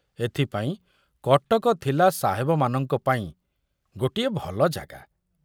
ଏଥିପାଇଁ କଟକ ଥିଲା ସାହେବମାନଙ୍କ ପାଇଁ ଗୋଟିଏ ଭଲ ଜାଗା।